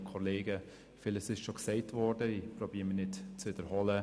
Ich versuche, es nicht zu wiederholen.